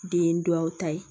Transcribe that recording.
Den duwawu ta ye